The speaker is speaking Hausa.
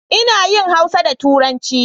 Ina yin Hausa da turanci